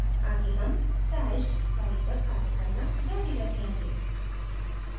आगे हम stashed file पर कार्य करना जारी रखेंगे